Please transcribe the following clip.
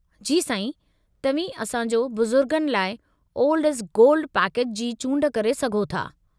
जी साईं, तव्हीं असां जो बुज़ुर्गनि लाइ 'ओल्ड इस गोल्ड' पैकेज जी चूंड करे सघो था।